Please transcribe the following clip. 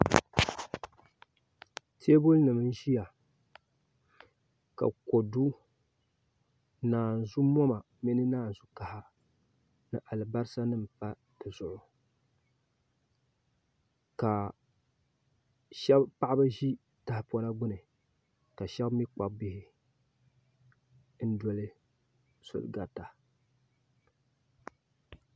Teebuli nim n ʒiya ka kodu naanzu moma ni naanzu kaha ni alibarisa nim pa dizuɣu ka paɣaba ʒi tahapona gbuni ka shab mii kpabi bihi n doli soli garita